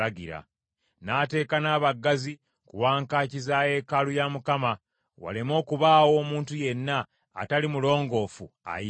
N’ateeka n’abaggazi ku wankaaki za yeekaalu ya Mukama , waleme okubaawo omuntu yenna atali mulongoofu ayingira.